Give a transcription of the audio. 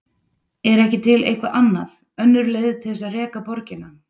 Er ekki til eitthvað annað, önnur leið til þess að reka borgina?